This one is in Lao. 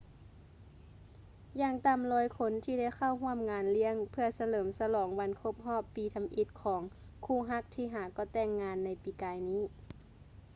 ຢ່າງຕ່ຳ 100 ຄົນທີ່ໄດ້ເຂົ້າຮ່ວມງານລ້ຽງ ເພື່ອສະເຫຼີມສະຫຼອງວັນຄົບຮອບປີທຳອິດຂອງຄູ່ຮັກທີ່ຫາກໍ່ແຕ່ງງານໃນປີກາຍນີ້